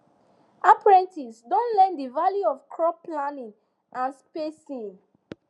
apprentices don learn the value of crop planning and spacing